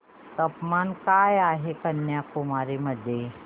तापमान काय आहे कन्याकुमारी मध्ये